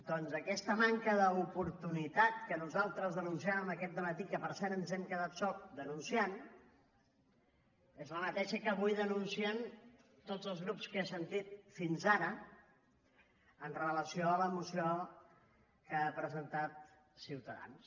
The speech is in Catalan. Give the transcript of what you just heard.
doncs aquesta manca d’oportunitat que nosaltres denunciàvem aquest dematí que per cert ens hem quedat sols denunciant és la mateixa que avui denuncien tots els grups que he sentit fins ara amb relació a la moció que ha presentat ciutadans